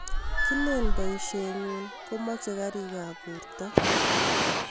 Kilen poishenyi komache karik ab porto